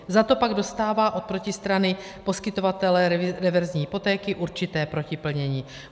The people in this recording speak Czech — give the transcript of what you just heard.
Za to pak dostává od protistrany poskytovatele reverzní hypotéky určité protiplnění.